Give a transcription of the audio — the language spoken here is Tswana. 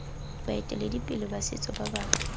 baeteledipele ba setso ba ba